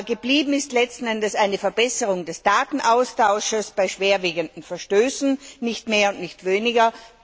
Geblieben ist letzten Endes eine Verbesserung des Datenaustauschs bei schwerwiegenden Verstößen, nicht mehr und nicht weniger.